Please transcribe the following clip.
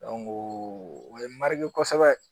o ye mari kosɛbɛ